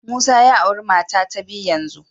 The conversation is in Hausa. Musa ya auri mata ta biyu yanzu